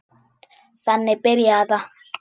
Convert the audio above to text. Þannig byrjaði það.